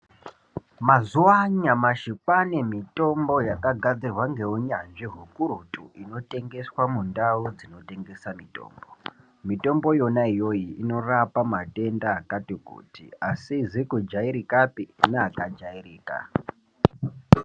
Mazuwa anyamashi kwaane mitombo yakagadzirwa ngeunyanzvi ukurutu inotengeswa mundau dzinotengesa mitombo mitombo yona iyoyi inorapa matenda akati kuti asizi kujairikapi neakajairika.